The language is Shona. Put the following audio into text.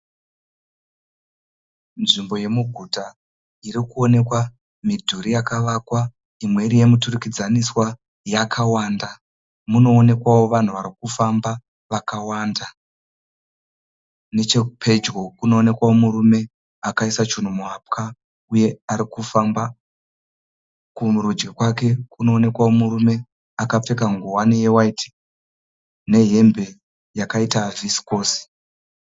Nzvimbo yemuguta iri kuoneka midhuri yakavakwa imwe iri yemiturikidzaniswa yakawanda. Mune vanhu varikufamba vakawanda. Nechepedyo pane murume akaiswa chinhu muhapwa arikufamba. Kurudyi kwake kune murume akapfeka heti chena nehembe yakaita vhisikosi.